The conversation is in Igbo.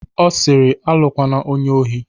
Ọ siri "Alụkwana onye ohi"